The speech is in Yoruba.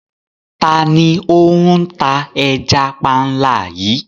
Tani o n tà ẹ̀já pànla yìí?